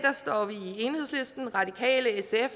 enhedslisten radikale sf